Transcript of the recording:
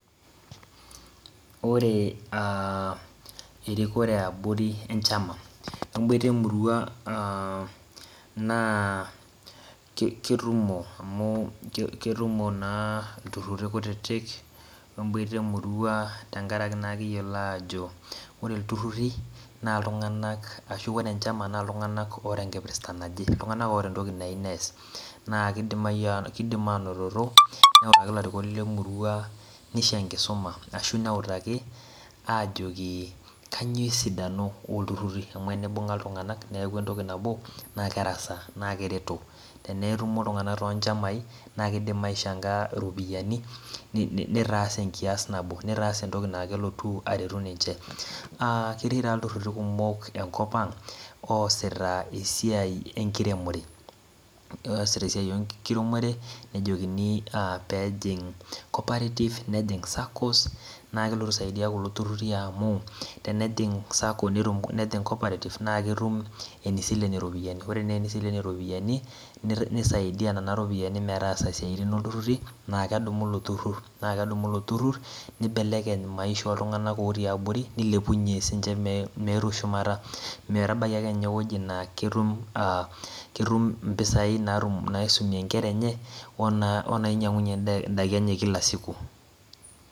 Ore aaa erikore yaa boori wenchama netumo wenemurua aa keyiolo aajo ore iltururi naa iltung'anak oota enkipirta naje ashuu entoki nayieu nees naa keidim aaanototo newoshiki ilarikok lemurua neisho enkisima ajoki kanyioo maana peeku entoki nabo naa kereto tenetumo iltung'anak toonchamai naa keidim aichanga iropiyiani neitaas entoki nabo naa kelotu aretu ninche aa ketii taata iltururi kumok enkop ang oosita esiai enkiremore nejokini peejing cooperative nejing saccos naa keltu aisaidia kulo tururi amu tenejing sacos naa ketumi eneisilen iropiyiani ore eneisilen ninche iropiyiani neisaidia nena ropiyiani metaasa naa kedumu nena ropiyiani lelo tururi neibelekeny maisha oltng'anak otiii aborie neilepunyue meetu sii ninche shumata metabaiki ewueji naa keetum impisai naisumie inkira enye onaiinyiang'unyie indaiki enye kila siku.